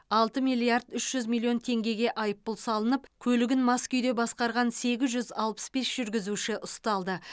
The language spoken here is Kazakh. алты миллиард үш жүз миллион теңгеге айыппұл салынып көлігін мас күйде басқарған сегіз жүз алпыс бес жүргізуші ұсталды